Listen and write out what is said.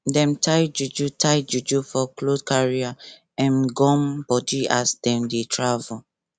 dem tie juju tie juju for clothcarry am gum body as dem dey travel